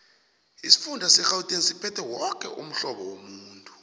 isifunda serhawuteng siphethe woke umhlobo womuntu